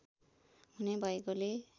हुने भएकोले